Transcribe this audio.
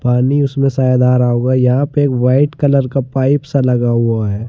पानी उसमें शायद आ रहा होगा यहां पे एक वाइट कलर का पाइप सा लगा हुआ है।